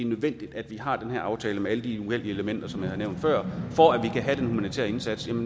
nødvendigt at vi har den her aftale med alle de uheldige elementer som jeg har nævnt før for at vi kan have den humanitære indsats den